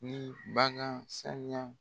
Ni bagan saniya